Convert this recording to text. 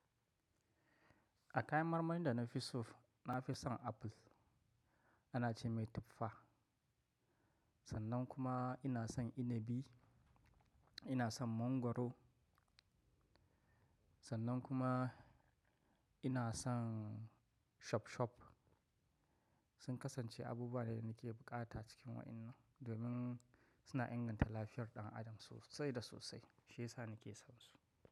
A kayan marmarin da na fi so, na fi son apple, ana ce mai tuffa. Sannan kuma ina son inibi, ina son mangwaro, sannan kuma ina son shop shop. Sun kasance abubuwa ne da ke buƙata cikin wa'inan, domin suna inganta lafiyar ɗan adam sosai da sosai shiyasa na ke son su.